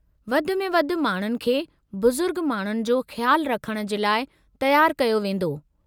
वधि में वधि माण्हुनि खे बुज़ुर्ग माण्हुनि जो ख़्याल रखणु जे लाइ तयारु कयो वेंदो।